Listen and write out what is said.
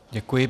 Děkuji.